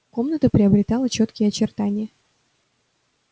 комната приобретала чёткие очертания